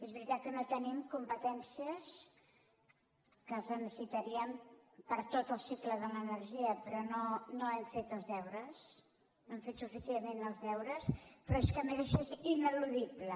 és veritat que no tenim competències que les necessitaríem per tot el cicle de l’energia però no hem fet els deures no hem fet suficientment els deures però és que a més això és ineludible